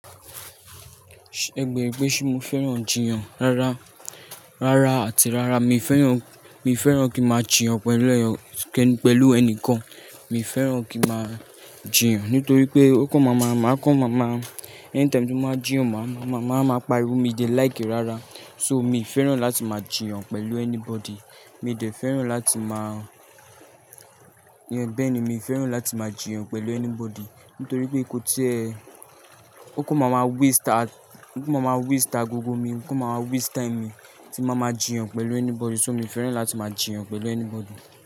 Ṣẹ̀ bèrè pé ṣé mo fẹ́ràn jiyàn rárá, rárá àti rárá. Mi fẹ́ràn, mi fẹ́ràn kí máa jiyàn pẹ̀lú ẹ̀yàn, pẹ̀lú ẹnìkan. Mi fẹ́ràn kí máa jiyàn, nítorí pé ó kàn máa ma-- máa kàn máa ma-- anytime tí mo máa jiyàn, máà máa máa pa irun mi de like rárá. So mi fẹ́ràn láti máa jiyàn pẹ̀lú anybody. Mi ò dẹ̀ fẹ́ràn láti máa jiyàn. Bẹ́ẹ̀ ni, mi fẹ́ràn láti máa jiyàn pẹ̀lú anybody. Nítorí pé kò tíẹ́, ó kàn máa ma waste, ó kàn máa ma waste agogo mi, ó kàn máa ma waste time mi tí mo máa ma jiyàn pẹ̀lú anybody. So mi fẹ́ràn láti máa jiyàn pẹ̀lú anybody.